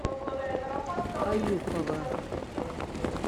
аюпова